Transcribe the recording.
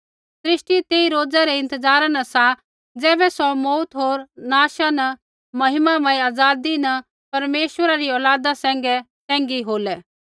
सृष्टि तेई रोज़ा रै इंतज़ारा न सा ज़ैबै सौ मौऊती होर नाशा न महिमामय आज़ादी न परमेश्वरा री औलादा सैंघै सैंघी होलै